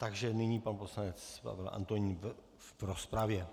Takže nyní pan poslanec Pavel Antonín v rozpravě.